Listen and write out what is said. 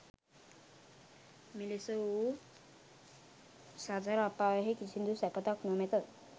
මෙලෙස වූ සතර අපායෙහි කිසිදු සැපතක් නොමැත.